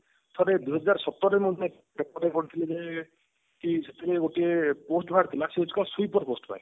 ଥରେ ଦୁଇହାଜର ସତର ରେ paper ରେ ପଢିଥିଲି ଯେ କି ସେତେବେଳେ ଗୋଟିଏ post ବାହାରି ଥିଲା ସେ ହଉଛି କଣ sweeper post ପାଇଁ